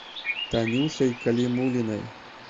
танюшей калимуллиной